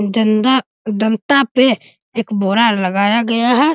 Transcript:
जंदा दंता पे एक बोरा लगाया गया है।